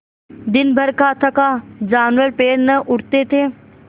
दिनभर का थका जानवर पैर न उठते थे